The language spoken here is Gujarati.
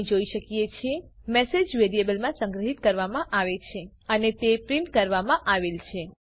આપણે જોઈ શકીએ છીએ મેસેજ વેરિયેબલમાં સંગ્રહિત કરવામાં આવે છે અને તે પ્રિન્ટ કરવામાં આવેલ છે